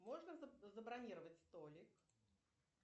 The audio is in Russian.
можно забронировать столик